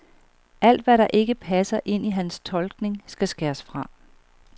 Alt, hvad der ikke passer ind i hans tolkning, skal skæres fra.